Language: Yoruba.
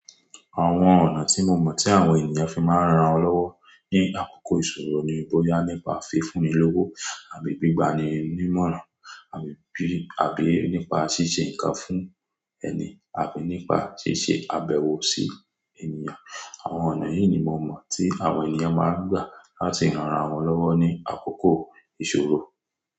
Àwọn ọ̀nà tí mo mọ̀ tí àwọn ènìyàn fi máa ń ran ara wọn lọ́wọ́ ní àkókò ìṣòro ni bóyá nípa fi fún ni lówó àbí gbígba ni ní ìmọ̀ràn, àbí bí, àbí nípa ṣíṣe nǹkan fún ẹni, àbí nípa ṣíṣe àbẹ̀wò sí ènìyàn. Àwọn ọ̀nà yìí ni mo mọ̀ tí àwọn ènìyàn máa ń gbà láti ran ara wọn lọ́wọ́ ní àkókò ìṣòro.